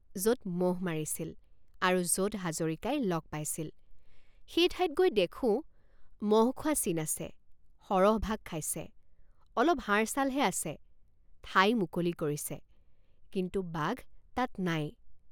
যত মহ মাৰিছিল আৰু যত হাজৰিকাই লগ পাইছিল সেই ঠাইত গৈ দেখোঁ মহ খোৱা চিন আছে সৰহভাগ খাইছে অলপ হাড়ছালহে আছে ঠাই মুকলি কৰিছে কিন্তু বাঘ তাত নাই।